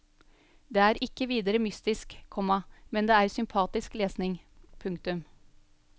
Det er ikke videre mystisk, komma men det er sympatisk lesning. punktum